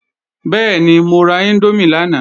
Bẹ́ẹ̀ni, mo ra índómì lánàá